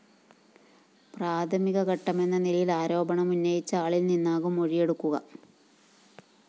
പ്രാഥമിക ഘട്ടമെന്ന നിലയില്‍ ആരോപണം ഉന്നയിച്ച ആളില്‍നിന്നാകും മൊഴിയെടുക്കുക